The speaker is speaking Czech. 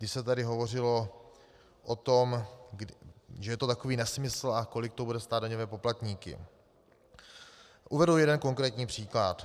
Když se tady hovořilo o tom, že je to takový nesmysl a kolik to bude stát daňové poplatníky, uvedu jeden konkrétní příklad.